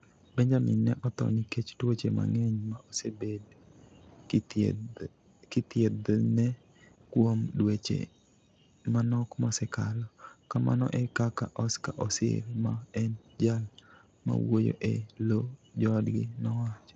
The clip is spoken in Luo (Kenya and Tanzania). "Benjamin ne otho nikech tuoche mang'eny ma osebed kithiedhene kuom dweche manok mosekalo", kamano e kaka Oscar Osir ma en jal mawuoyo e lo joodgi nowacho.